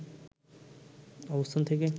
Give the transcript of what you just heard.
অবস্থান থেকে